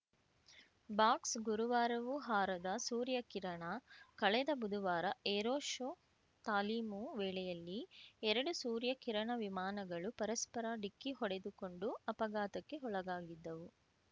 ಬಾಕ್ಸ್ಗುರುವಾರವೂ ಹಾರದ ಸೂರ್ಯಕಿರಣ ಕಳೆದ ಬುಧವಾರ ಏರೋ ಶೋ ತಾಲೀಮು ವೇಳೆಯಲ್ಲಿ ಎರಡು ಸೂರ್ಯ ಕಿರಣ ವಿಮಾನಗಳು ಪರಸ್ಪರ ಡಿಕ್ಕಿ ಹೊಡೆದುಕೊಂಡು ಅಪಘಾತಕ್ಕೆ ಒಳಗಾಗಿದ್ದವು